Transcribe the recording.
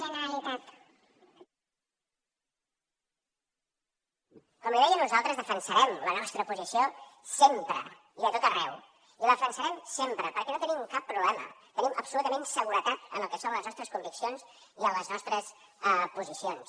com li deia nosaltres defensarem la nostra posició sempre i a tot arreu i la defensarem sempre perquè no tenim cap problema tenim absolutament seguretat en el que són les nostres conviccions i en les nostres posicions